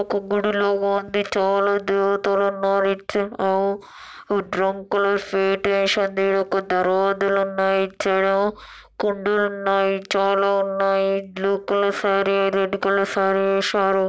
ఒక గుడిలో చాలా మంది దేవతలు ఉన్నారు ఇటు సైడ్ ఏమో దరంకులు షీట్ వేసి ఉంది ఇటు సైడ్ రోడులు ఉన్నాయి ఇటు సైడ్ ఏమో కుండలు ఉన్నాయి. చాలా ఉన్నాయి. Blue colour sari red colour sari వేశారు.